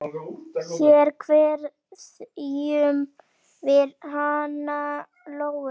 Hér kveðjum við hana Lóu.